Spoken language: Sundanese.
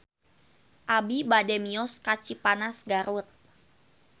Abi bade mios ka Cipanas Garut